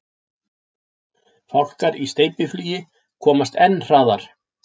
Fálkar í steypiflugi komast enn hraðar.